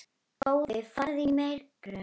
Góði farðu í megrun.